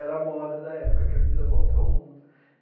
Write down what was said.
Era moda da época, camisa Volta ao Mundo.